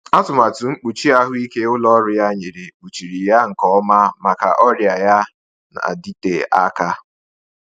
Atụmatụ mkpuchi ahụike ụlọ ọrụ ya nyere kpuchiri ya nke ọma maka ọrịa ya na-adịte aka.